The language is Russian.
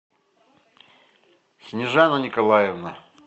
снежана николаевна